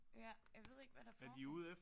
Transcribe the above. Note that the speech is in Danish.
Ja jeg ved ikke hvad der foregår